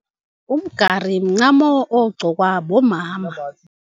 Umgari mincamo ogqokwa bomama.